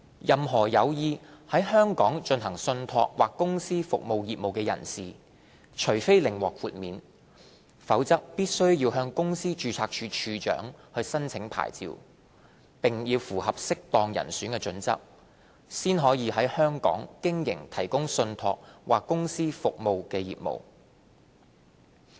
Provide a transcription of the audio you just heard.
任何有意在香港進行信託或公司服務業務的人士，除非另獲豁免，否則必須向公司註冊處處長申請牌照，並符合"適當人選"準則，方可在香港經營提供信託或公司服務的業務。